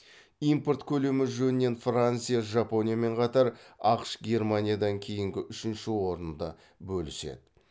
импорт көлемі жөнінен франция жапониямен қатар ақш германиядан кейінгі үшінші орынды бөліседі